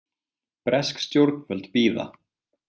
Bresk stjórnvöld bíða